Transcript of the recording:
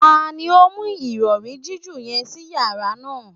Tani o mu irọri jiju yẹn si yara naa?